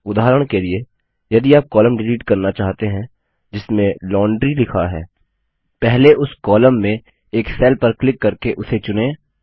उदाहरण के लिए यदि आप कॉलम डिलीट करना चाहते हैं जिसमें लॉन्ड्री लिखा है पहले उस कॉलम में एक सेल पर क्लिक करके उसे चुनें